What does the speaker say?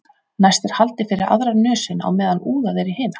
Næst er haldið fyrir aðra nösina á meðan úðað er í hina.